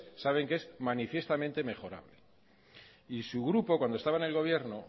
saben que es manifiestamente mejorable y su grupo cuando estaba en el gobierno